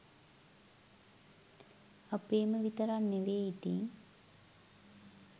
අපේම විතරක් නෙමේ ඉතිං